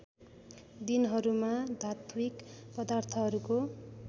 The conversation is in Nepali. दिनहरूमा धात्विक पदार्थहरूको